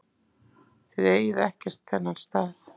Þið eigið ekkert þennan stað.